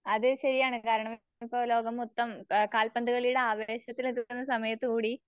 അതെ ശരിയാണ്. കാരണംമി പ്പംലോകംമൊത്തം ആഹ് കാൽപന്തുകളിയുടെ ആവേശത്തിലെതുടർന്ന് സമയത്തുകൂടി